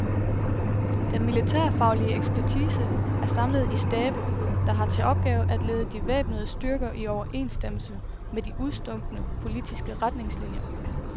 Den militærfaglige ekspertise er samlet i stabe, der har til opgave at lede de væbnede styrker i overensstemmelse med de udstukne politiske retningslinier.